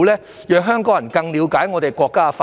這能讓香港人更了解國家的發展。